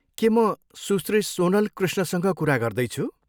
के म सुश्री सोनल कृष्णसँग कुरा गर्दैछु?